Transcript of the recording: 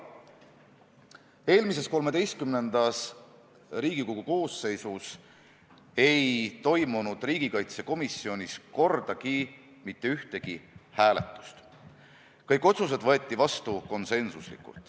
Eelmises, XIII Riigikogu koosseisus ei toimunud riigikaitsekomisjonis kordagi mitte ühtegi hääletust, kõik otsused võeti vastu konsensuslikult.